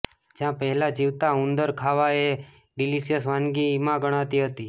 જ્યાં પહેલા જીવતા ઉંદર ખાવાએ એક ડિલિસિયસ વાનગીમાં ગણાતી હતી